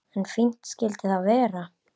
En fínt skyldi það vera!